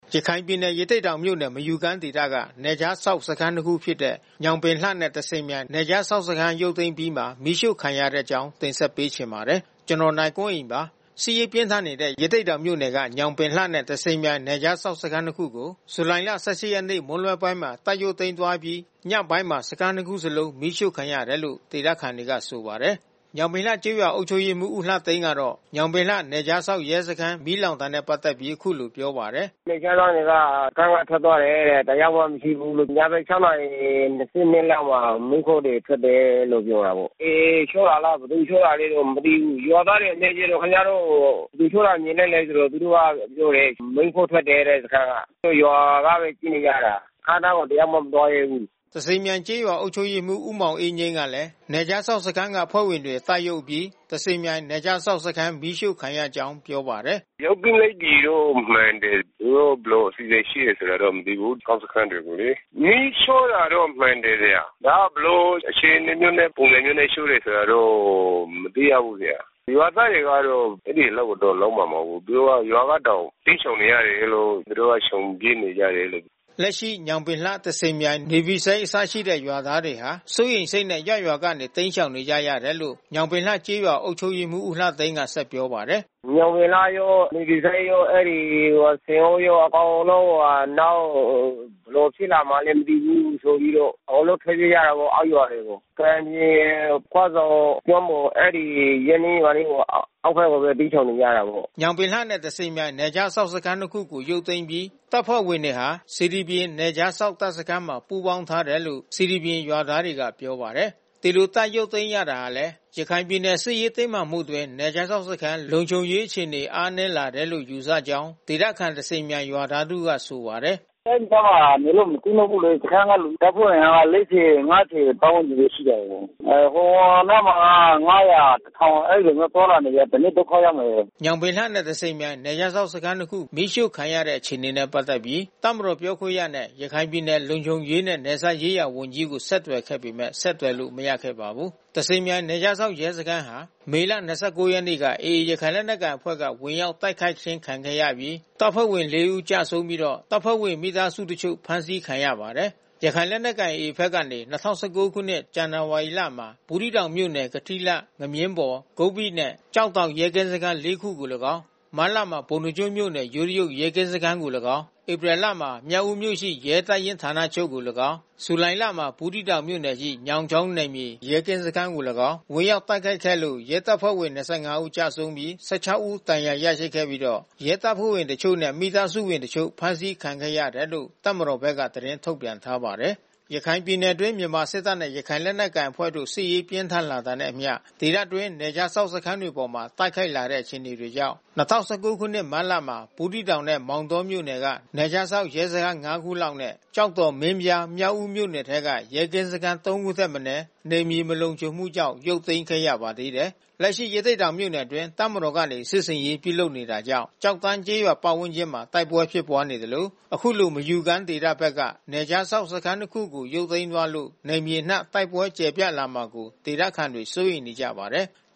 ရခိုင်ပြည်နယ်၊ ရသေ့တောင်မြို့နယ်၊ မယူကမ်းဒေသက နယ်ခြားစောင့် စခန်းနှစ်ခုဖြစ်တဲ့ ညောင်ပင်လှနဲ့ သဇင်မြိုင် နယ်ခြားစောင့်စခန်း ရုပ်သိမ်းအပြီးမှာ မီးရှို့ခံရတဲ့အကြောင်း နိုင်ကွန်းအိန် တင်ဆက်ပေးမှာပါ။ စစ်ရေးပြင်းထန်နေတဲ့ ရသေ့တောင်မြို့နယ်က ညောင်ပင်လှနဲ့ သဇင်မြိုင် နယ်ခြားစောင့်စခန်းနှစ်ခုကို ဇူလိုင်လ ၁၈ ရက်နေ့ မွန်းလွဲပိုင်းမှာ တပ်ရုပ်သိမ်းသွားအပြီး ညပိုင်းမှာ စခန်းနှစ်ခု စလုံးမီးရှို့ခံရတယ်လို့ ဒေသခံတွေကဆို ပါတယ်။ ညောင်ပင်လှ ကျေးရွာအုပ်ချုပ်ရေးမှူး ဦးလှသိန်းကတော့ ညောင်ပင်လှနယ်ခြားစောင့်ရဲစခန်း မီးလောင်တာ နဲ့ပက် သက်ပြီးအခုလိုပြောပါတယ်။ “နယ်ခြားစောင့်တွေက စခန်းကထွက်သွားတယ်တဲ့။ တယောက်မှမရှိဘူး။ ညဘက်(၆)နာရီ (၂၂)လောက်မှာ မီးခိုးတွေ ထွက်တယ်လို့ပြောတာပေါ့။ AA ရှို့တာလား ဘယ်သူရှို့တာလဲတော့ မသိဘူး။ ရွာသားတွေ မေးကြည့်တော့ ခင်ဗျားတို့ ဘယ်သူရှို့တာမြင်လိုက်လဲဆိုတော့ သူတို့ကပြောတယ်။ မီးခိုးထွက်တယ်တဲ့စခန်းက။ သူတို့ရွာကဘဲကြည့်နေကြ တာ။ စခန်းအနားကိုတယောက်မှမသွားရဲဘူး။” သဇင်မြိုင်ကျေးရွာအုပ်ချုပ်ရေးမှူးမောင်အေးငြိမ်းကလဲ နယ်ခြားစောင့်စခန်းက အဖွဲ့ဝင်တွေတပ်ရုပ်အပြီး သဇင်မြိုင် နယ်ခြားစောင့်စခန်းမီးရှို့ခံရကြောင်းပြောပါတယ်။ “ရုပ်သိမ်းလိုက်ပြီးလို့မှန်တယ်။ သူတို့ဘယ်လိုအစီစဉ်ရှိတယ်ဆိုတာတော့ မသိဘူး။ နယ်ခြားစောင့်စခန်းတွေကိုလေ မီးရှို့တာတော့မှန်တယ်။ ဒါကဘယ်လို အခြေအနေမျိုးနဲ့ပုံစံမျိုးနဲ့ ရှို့တယ်ဆိုတာတော့ မသိရဘူး။ ရွာသားတွေက တော့ အဲဒီအလုပ်ကိုတော့လုပ်မှာ မဟုတ်ဘူး။ သူတို့က ရွာကတောင် တိမ်းရှောင်နေရတာတို့ သူတို့က ရှောင်ပြေး နေရ တယ်လို့။” လက်ရှိ ညောင်ပင်လှနဲ့ သဇင်မြိုင် နေဗီဆိပ်အစရှိတဲ့ရွာသားတွေဟာ စိုးရိမ်စိတ်နဲ့ ရပ်ရွာကနေတိမ်းရှောင် နေကြရ တယ်လို့ညောင်ပင်လှ ကျေးရွာအုပ်ချုပ်ရေးမှူး ဦးလှသိန်းက ပြောပါတယ်။ “ညောင်ပင်လှရော၊ နေဗွီကလေးရော ၊ အဲဒီဆင်အိုးရော အကုန်လုံးဟိုဟာ နောက်ဘယ်လို ဖြစ်လာမှာလဲ မသိဘူးဆိုပြီး တော့အကုန်လုံးထွက်ပြေးကြတာပေါ့ အောက်ရွာတွေကို။ ကံပြင် ခွဆုံ ကျွန်းပေါ် အဲဒီရပ်နီးရွာနီးအောက်ဘက်ကိုဘဲ တိမ်းရှောင်နေကြတာပေါ့။” ညောင်ပင်လှနဲ့ သဇင်မြိုင် နယ်ခြားစောင့်စခန်းနှစ်ခုကိုရုပ်သိမ်းအပြီးတပ်ဖွဲ့ဝင်တွေဟာ စေတီပြင် နယ်ခြားစောင့် တပ်စခန်းမှာ ပူးပေါင်းထားတယ်လို့ စေတီပြင်ကျေးရွာသားတွေကပြောပါတယ်။ ဒီလို တပ်ရုပ်သိမ်းရတာဟာလဲ ရခိုင်ပြည်နယ်စစ်ရေးတင်းမာမှုအတွင်း နယ်ခြားစောင့် စခန်း လုံခြုံရေးအခြေအနေ အားနည်း လာတယ်လို့ယူဆကြောင်း ဒေသခံသဇင်မြိုင်ရွာသားတဦးကဆိုပါတယ်။ “အဲဒီစခန်းမှာ နေလို့မဖြစ်တော့ဘူးလေ။ စခန်းက လူတပ်ဖွဲ့အင်အားက (၄၀)(၅၀) ပတ်ဝန်းကျင်ဘဲ ရှိတော့တယ်။ ဟိုနားမှာ(၅၀၀)(၁၀၀၀)အဲဒီလိုမျိုးသွားလာနေတယ်။ တနေ့ဒုက္ခရောက်မယ်။” ညောင်ပင်လှနဲ့ သဇင်မြိုင် နယ်ခြားစောင့်စခန်းနှစ်ခု မီးရှို့ခံရတဲ့အခြေအနေနဲ့ပက်သက်ပြီး တပ်မတော်ပြောခွင့်ရနဲ့ ရခိုင်ပြည်နယ် လုံခြုံရေးနဲ့နယ်စပ်ရေးရာဝန်ကြီးကိုဆက်သွယ်ခဲ့ပေမဲ့ ဆက်သွယ်လို့မရခဲ့ပါဘူး။ သဇင်မြိုင်နယ်ခြားစောင့်ရဲစခန်းဟာ မေလ ၂၉ ရက်နေ့က AAရခိုင်လက်နက်ကိုင်အဖွဲ့က ဝင်ရောက် တိုက်ခိုက် ခံခဲ့ရပြီး တပ်ဖွဲ့ဝင် ၄ ဦးကျဆုံးပြီးတော့ တပ်ဖွဲ့ဝင် မိသားစုတစ်ချို့ဖမ်းဆီးခံရပါတယ်။ ရခိုင်လက်နက်ကိုင ်AA ဘဘက်ကနေ ၂၀၁၉ ခုနှစ်၊ ဇန်နဝါရီလမှာ ဘူးသီးတောင်မြို့နယ်ရှိ ကထီးလှ၊ ငမြင်းဘော်၊ ဂုပ္ပိနှင့် ကျောက်တောင် ရဲကင်းစခန်း (၄) ခုအားလည်းကောင်း၊ မတ်လမှာ ပုဏ္ဏားကျွန်းမြို့နယ်ရှိ ယိုးတရုတ် ရဲကင်း စခန်းအားလည်းကောင်း၊ ဧပြီလမှာ မြောက်ဉီးမြို့ရှိ ရဲတပ်ရင်း ဌာနချုပ်အား လည်းကောင်း၊ ဇူလိုင်လမှာ ဘူးသီး တောင်မြို့နယ်ရှိ ညောင်ချောင်းနယ်မြေ ရဲကင်းစခန်းအား လည်းကောင်း ဝင်ရောက်တိုက်ခိုက်ခဲ့လို့ ရဲတပ်ဖွဲ့ဝင် (၂၅) ဦး ကျဆုံးပြီး (၁၆) ဦး ဒဏ်ရာရရှိခဲ့ပြီးတော့ ရဲတပ်ဖွဲ့ဝင်အချို့နဲ့ မိသားစုဝင်အချို့ ဖမ်းဆီးခြင်းခံခဲ့ရ တယ်လို့ တပ်မတော်ဘက်က သတင်းထုတ်ပြန်ထားပါတယ်။ ရခိုင်ပြည်နယ်အတွင်း မြန်မာစစ်တပ်နဲ့ရခိုင်လက်နက်ကိုင်အဖွဲ့တို့စစ်ရေးပြင်းထန်လာတဲ့အမျှ ဒေသအတွင်း နယ်ခြားစောင့်စခန်းတွေအပေါ် တိုက်ခိုက်လာတဲ့အခြေအနေကြောင့် ၂၀၁၉ ခုနှစ် မတ်လမှာ ဘူးသီးတောင်နဲ့ ရသေ့တောင်မြို့နယ်တွေက နယ်ခြားစောင့်ရဲစခန်း ၅ ခုလောက်နဲ့ ကျောက်တော်၊ မင်းပြား၊ မြောက်ဦးမြို့နယ် တွေထဲက ရဲကင်းစခန်း ၃ ခုထက်မနည်း နယ်မြေ မလုံခြုံမှုကြောင့် ရုပ်သိမ်းခဲ့ရပါသေးတယ်။ လက်ရှိ ရသေ့တောင်မြို့နယ်အတွင်း တပ်မတော်ကနေ စစ်ဆင်ရေးပြုလုပ်နေတာကြောင့် ကျောက်တန်း ကျေးရွာ ဝန်းကျင်တဝိုက်မှာ တိုက်ပွဲဖြစ်နေသလို အခုလို မယူကမ်းဒေသဘက်က နယ်ခြားစောင့် စခန်းနှစ်ခုကို ရုပ်သိမ်း သွားလို့ နယ်မြေအနှံ့ တိုက်ပွဲကျယ်ပြန့်လာမှာကို ဒေသခံတွေ စိုးရိမ်နေကြပါတယ်။